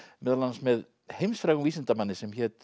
meðal annars með heimsfrægum vísindamanni sem hét